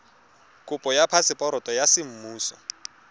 kopo ya phaseporoto ya semmuso